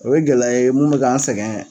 O ye gɛlɛya ye mun bɛ k'an sɛgɛn